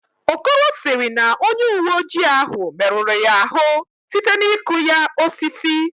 Okoro sịrị na onye uweojii ahụ merụrụ ya ahụ site n'ịkụ ya osisi